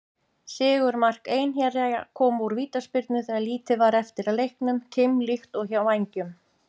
Sigurmark Einherja kom úr vítaspyrnu þegar lítið var eftir af leiknum, keimlíkt og hjá Vængjum.